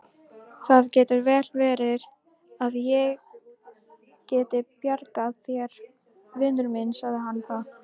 Það getur vel verið að ég geti bjargað þér, vinur minn sagði hann þá.